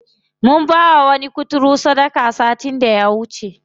Mun bawa wani kuturu sadaka satin da ya wuce.